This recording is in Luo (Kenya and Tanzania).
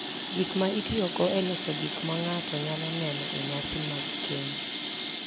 Gik ma itiyogo e loso gik ma ng’ato nyalo neno e nyasi mag keny.